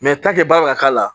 baara bɛ ka k'a la